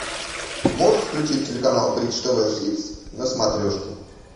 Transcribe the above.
можешь включить телеканал бридж тв хитс на смотрешке